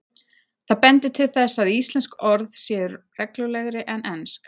Það bendir til þess að íslensk orð séu reglulegri en ensk.